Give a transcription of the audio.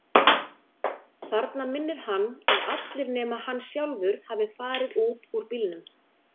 Þarna minnir hann að allir nema hann sjálfur hafi farið út úr bílnum.